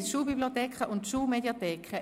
9.1 Schulbibliotheken und Schulmediatheken